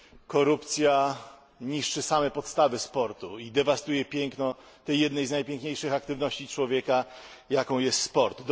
Korupcja niszczy same podstawy sportu i dewastuje piękno tej jednej z najpiękniejszych aktywności człowieka, jaką jest sport.